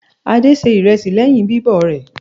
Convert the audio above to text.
Adé se ìrẹsì lẹ́yìn bíbọ̀ rẹ̀.